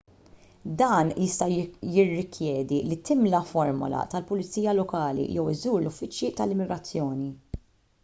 dan jista' jirrikjedi li timla formola tal-pulizija lokali jew iżżur l-uffiċċji tal-immigrazzjoni